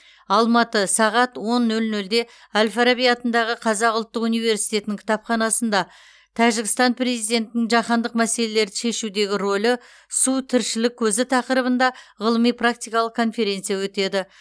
алматы сағат он нөл нөлде әл фараби атындағы қазақ ұлттық университетінің кітапханасында тәжікстан президентінің жаһандық мәселелерді шешудегі рөлі су тіршілік көзі тақырыбында ғылыми практикалық конференция өтеді